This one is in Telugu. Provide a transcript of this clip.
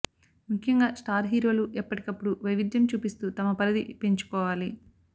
ముఖ్యంగా స్టార్ హీరోలు ఎప్పటికప్పుడు వైవిధ్యం చూపిస్తూ తమ పరిధి పెంచుకోవాలి